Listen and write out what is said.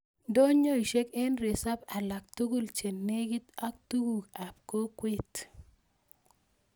Ndonyoisek en resop alak tugul che negit ak tuguk ap kokwet